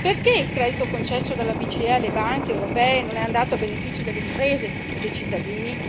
Perché il credito concesso dalla BCE alle banche europee non è andato a beneficio delle imprese e dei cittadini?